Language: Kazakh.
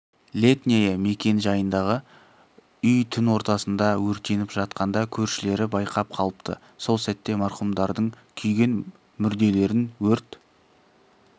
летняя мекен жайындағы үй түн ортасында өртеніп жатқанда көршілері байқап қалыпты сол сәтте марқұмдардың күйген мүрделерін өрт